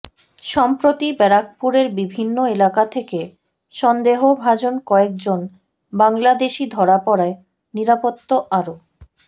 সম্প্রতি ব্যারাকপুরের বিভিন্ন এলাকা থেকে সন্দেহভাজন কয়েক জন বাংলাদেশি ধরা পড়ায় নিরাপত্তা আরও